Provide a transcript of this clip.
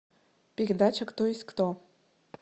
передача кто есть кто